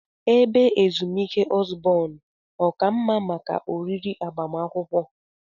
Ebe ezumike Osborn ọ ka mma maka oriri agbamakwụkwọ?